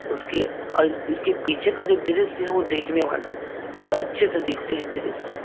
उसके अ इसके पीछे का जो दृश्य है वो देखने वाला है बहुत अच्छे से देखते है दृश्य।